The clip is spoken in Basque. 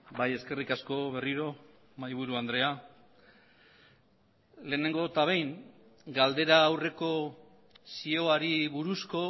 bai eskerrik asko berriro mahaiburu andrea lehenengo eta behin galdera aurreko zioari buruzko